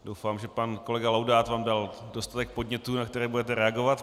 Doufám, že pan kolega Laudát vám dal dostatek podnětů, na které budete reagovat.